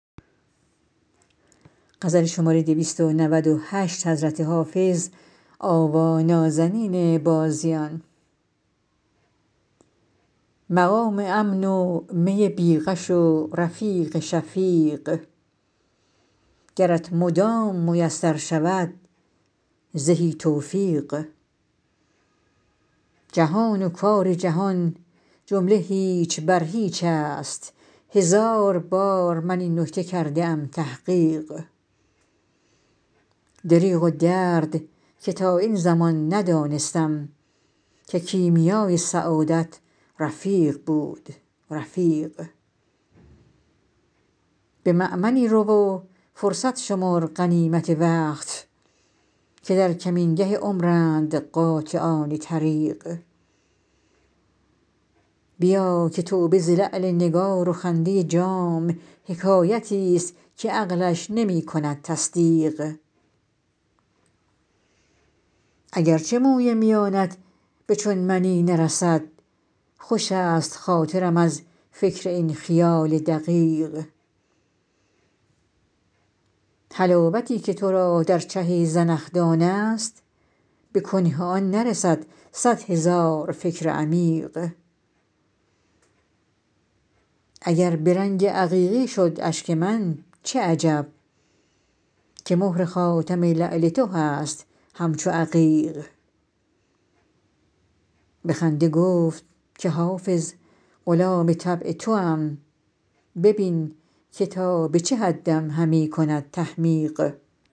مقام امن و می بی غش و رفیق شفیق گرت مدام میسر شود زهی توفیق جهان و کار جهان جمله هیچ بر هیچ است هزار بار من این نکته کرده ام تحقیق دریغ و درد که تا این زمان ندانستم که کیمیای سعادت رفیق بود رفیق به مأمنی رو و فرصت شمر غنیمت وقت که در کمینگه عمرند قاطعان طریق بیا که توبه ز لعل نگار و خنده جام حکایتی ست که عقلش نمی کند تصدیق اگر چه موی میانت به چون منی نرسد خوش است خاطرم از فکر این خیال دقیق حلاوتی که تو را در چه زنخدان است به کنه آن نرسد صد هزار فکر عمیق اگر به رنگ عقیقی شد اشک من چه عجب که مهر خاتم لعل تو هست همچو عقیق به خنده گفت که حافظ غلام طبع توام ببین که تا به چه حدم همی کند تحمیق